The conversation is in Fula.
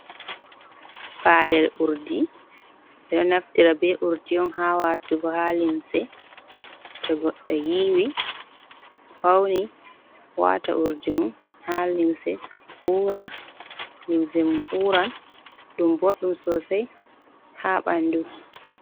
Palel urdi, eɗo naftira be urdi'on ha watugo ha limse, to goɗɗo yiwi fauni wata urdi mum ha limse, limse mum uran .Ɗum boɗɗum sosai ha ɓandu.